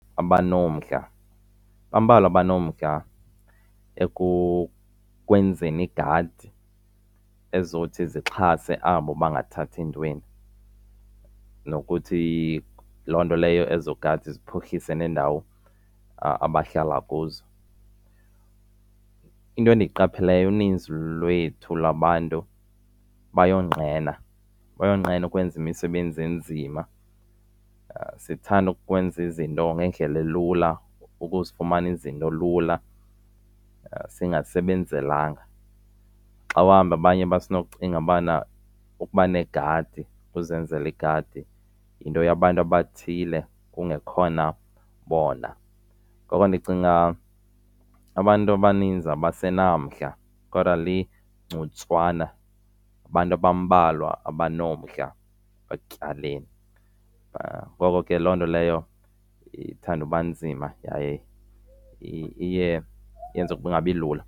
Abanomdla bambalwa abanomdla ekwenzeni iigadi ezizothi zixhase abo bangathathi ntweni nokuthi loo nto leyo ezo gadi ziphuhlise neendawo abahlala kuzo. Into endiyiqapheleyo uninzi lwethu labantu bayonqena, bayonqena ukwenza imisebenzi enzima. Sithanda ukwenza izinto ngendlela elula, ukuzifumana izinto lula singasebenzelanga. Xa uhamba abanye basenocinga ubana ukuba negadi ukuzenzela igadi yinto yabantu abathile kungekhona bona. Ngoko ndicinga abantu abaninzi abasenamandla kodwa ligcuntswana, abantu abambalwa abanomdla ekutyaleni. Ngoko ke loo nto leyo ithande uba nzima yaye iye yenze kungabi lula.